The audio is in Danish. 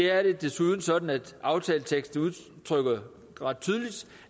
er det desuden sådan at aftaleteksten udtrykker